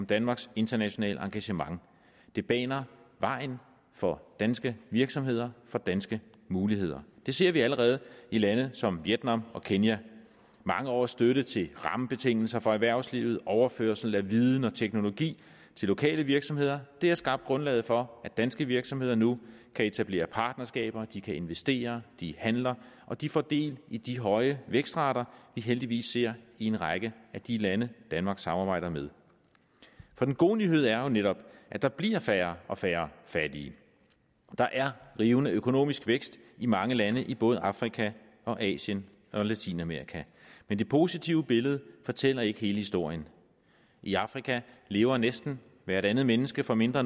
danmarks internationale engagement det baner vejen for danske virksomheder for danske muligheder det ser vi allerede i lande som vietnam og kenya mange års støtte til rammebetingelser for erhvervslivet og overførsel af viden og teknologi til lokale virksomheder har skabt grundlaget for at danske virksomheder nu kan etablere partnerskaber de kan investere de handler og de får del i de høje vækstrater vi heldigvis ser i en række af de lande danmark samarbejder med for den gode nyhed er jo netop at der bliver færre og færre fattige der er rivende økonomisk vækst i mange lande i både afrika asien og latinamerika men det positive billede fortæller ikke hele historien i afrika lever næsten hvert andet menneske for mindre